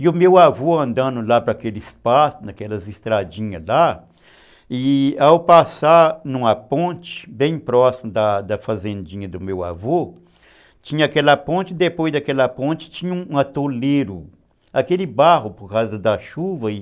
E o meu avô andando lá para aquele espaço, naquelas estradinhas lá, e ao passar numa ponte bem próxima da da fazendinha do meu avô, tinha aquela ponte e depois daquela ponte tinha um atoleiro, aquele barro por causa da chuva, e